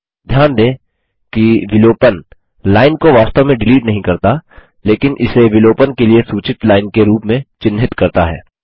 ध्यान दें कि विलोपन डिलीशन लाइन को वास्तव में डिलीट नहीं करता लेकिन इसे विलोपन के लिए सूचित लाइन के रूप में चिन्हित करता है